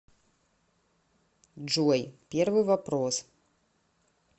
джой первый вопрос